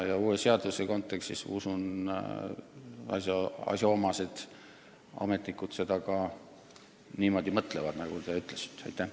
Aga uue seaduse kontekstis ma usun, et asjaomased ametnikud mõtlevad ka nii nagu teie.